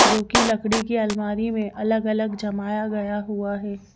जो कि लकड़ी की अलमारी में अलग-अलग जमाया गया हुआ है।